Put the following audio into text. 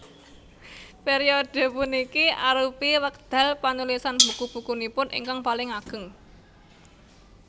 Periode puniki arupi wekdal panulisan buku bukunipun ingkang paling ageng